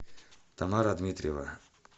тамара дмитриева